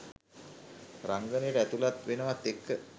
රංගනයට ඇතුල් වෙනවත් එක්ක